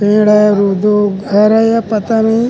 पेड़ है और दू घर है या पता नहीं--